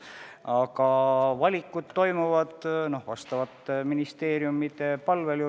Aga valikud toimuvad asjaomaste ministeeriumide palvel.